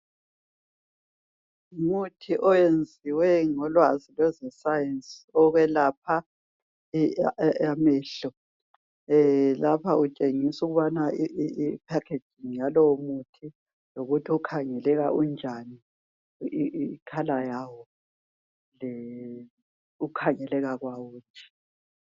Umuthi oyenziwe ngolwazi lozwe science okwelapha amehlo lapha kutshengisa ukuthi i phakeji yalowo muthi yikuthi ukhangeleka unjani ikhala yawo ukukhangeleka kwawo nje